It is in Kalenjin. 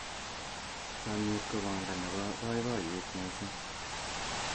chamiet ko banda nebo baibaiyet mising